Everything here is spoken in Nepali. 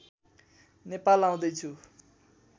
नेपाल आउँदै छु